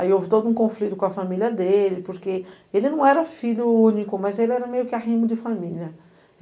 Aí houve todo um conflito com a família dele, porque ele não era filho único, mas ele era meio que a rinha de família.